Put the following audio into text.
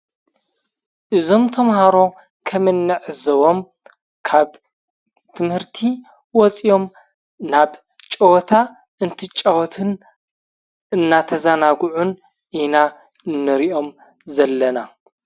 እዞም ተምሃሮ ከምንዕዘቦም ካብ ትምህርቲ ወፂኦም ናብ ጨወታ እንትጫወቱን እናተዛናጉዑን ኢና እንሪኦም ዘለና።